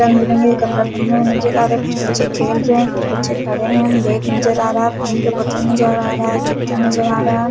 रंग-बिरंगे कपड़े पहने हुए नजर आ रहा। कुछ बच्चे खेल रहे हैं। कुछ बच्चे खड़े हैं। बैग नजर आ रहा है। पानी का बोतल नजर आ रहा है। जूता नजर आ रहा--